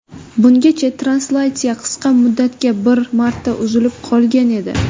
Bungacha translyatsiya qisqa muddatga bir marta uzilib qolgan edi.